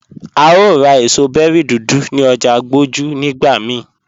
À o rá èṣọ̀ bẹ̀ri dúdú ní ọ̀jà Agboju nigbà míì